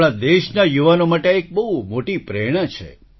આપણાં દેશના યુવાનો માટે આ એક મોટી પ્રેરણા છે